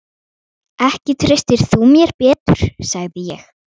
Ekki treystir þú mér betur, sagði ég.